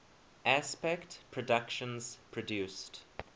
aspect productions produced